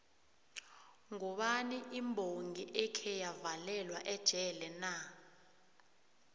ngubani imbongi ekheya valelwa ejele na